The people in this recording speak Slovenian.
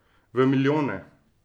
V milijone.